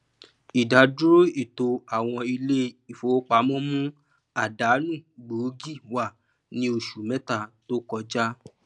ìdádúró ètò àwọn ilé ìfowópamọ mú àdánù gbóògì wá ní oṣù méta tó kọ ja